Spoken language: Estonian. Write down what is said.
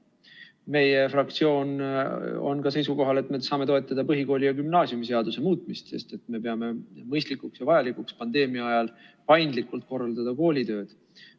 Meie fraktsioon on ka seisukohal, et me saame toetada põhikooli- ja gümnaasiumiseaduse muutmist, sest me peame mõistlikuks ja vajalikuks pandeemia ajal paindlikult korraldada koolitööd.